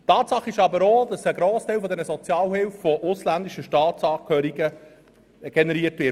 Tatsache ist aber auch, dass ein grosser Teil der Sozialhilfekosten von ausländischen Staatsangehörigen generiert wird.